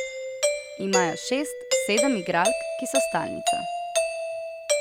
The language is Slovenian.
Imajo šest, sedem igralk, ki so stalnica.